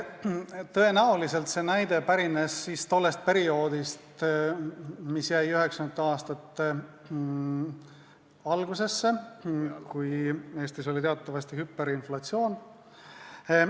Tõenäoliselt pärines see näide tollest perioodist, mis jäi 1990. aastate algusesse, kui Eestis oli teatavasti hüperinflatsioon.